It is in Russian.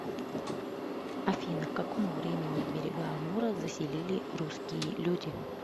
афина к какому времени берега амура заселили русские люди